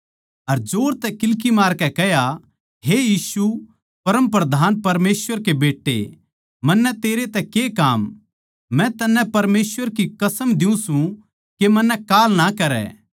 अर जोर तै किल्की मारकै कह्या हे यीशु परमप्रधान परमेसवर के बेट्टे मन्नै तेरै तै के काम मै तन्नै परमेसवर की कसम दियुँ सूं के मन्नै काल ना करै